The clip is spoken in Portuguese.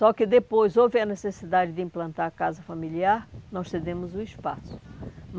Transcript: Só que depois houve a necessidade de implantar a casa familiar, nós cedemos o espaço.